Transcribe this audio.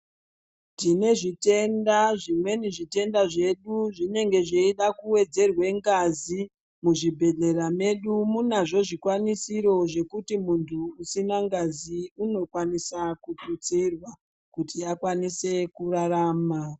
Tine zvitenda zvimweni zvitenda zvedu zvinenge zveida kuwedzerwa ngazi. Muzvibhedhlera medu munazvo zvikwanisiro zvekuti muntu usina ngazi unokwanisa kututsirwa kuti akwanise kurarama.